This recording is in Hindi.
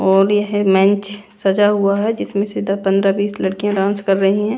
और यह है लाइन्स सजा हुआ है जिसमें से पंदरा बिस लड़कियां डांस कर रही हैं।